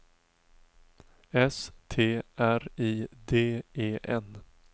S T R I D E N